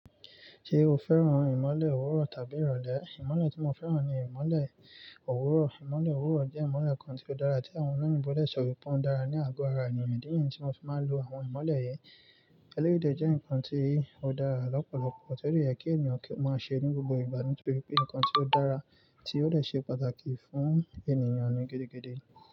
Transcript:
Ṣé o fẹ́ràn ìmọ̀le òwúrọ̀ tàbí ìrọ̀lẹ́? Ìmọ̀le tí mo fẹ́ràn ni ìmọ̀le òwúrọ̀. Ìmọ̀le òwúrọ̀ jẹ́ ìmọ̀le kan tí ó dára, tí àwọn oní ìbọ̀lẹ̀ sọ wípé ó dára ní àgọ ara ènìyàn. Di yẹn, tí mo fi máa ń lo àwọn ìmọ̀le yìí. Elérìndè jẹ́ nǹkan tí ó dára lọ́pọ̀lọpọ̀, torí ó yẹ kí ènìyàn kí ó máa ṣe ní gbogbo ìgbà. Nítorí pé nǹkan tí ó dára, tí ó lè ṣe pàtàkì fún ènìyàn ni gédégbéde.